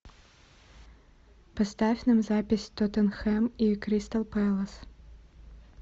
поставь нам запись тоттенхэм и кристал пэлас